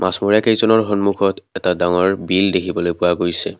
মাছমৰিয়া কেইজনৰ সন্মুখত এটা ডাঙৰ বিল দেখিবলৈ পোৱা গৈছে।